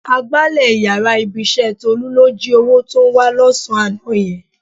Agbálẹ̀ yàrá ibi-iṣẹ́ Tólú ló jí owó tó ń wá lọ́sàn-án àná yẹn.